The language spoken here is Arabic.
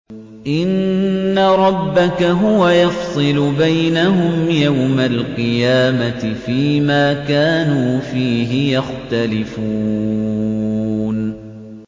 إِنَّ رَبَّكَ هُوَ يَفْصِلُ بَيْنَهُمْ يَوْمَ الْقِيَامَةِ فِيمَا كَانُوا فِيهِ يَخْتَلِفُونَ